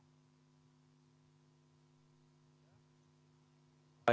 Aitäh!